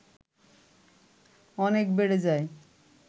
অনেক বেড়ে যায়